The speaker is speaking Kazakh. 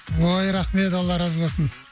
ой рахмет алла разы болсын